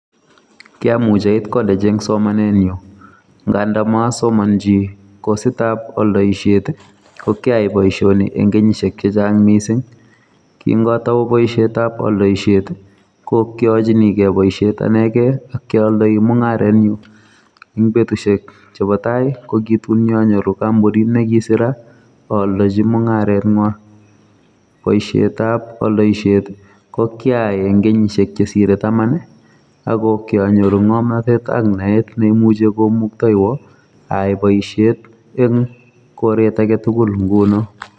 Kiamuch ait college ing' somanet nyu nga ndamasomanji kosit ap aldaiset, ko kyai boisioni ing' kenyisiek chechang' miising'. Kingatau boisiet ap aldaisiet ko kiachinikei boisiet anegei akiaaldai mung'aretnyu, ing' betusiek chebo tai ko ki tun nyanyoru kampunit nekisira aaldaji mung'aret ng'wai. boisiet ap aldaisiet, ko kyaai ing'kenyisiek chesire taman ako kianyoru ng'omnatet ak naet neimuchi konaktoiwa aai boisiet ing'koret agetugul nguno